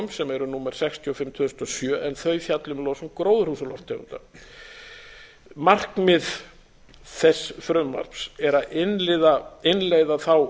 sem eru númer sextíu og fimm tvö þúsund og sjö en þau fjalla um losun gróðurhúsalofttegunda markmið þess frumvarps er að innleiða þá